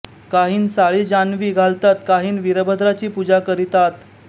कांहीं साळी जानवीं घालतात कांहीं वीरभद्राची पूजा करितात